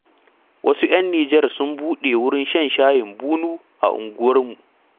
Wasu 'yan Nijar sun buɗe wurin shan shayin bunu a unguwarmu.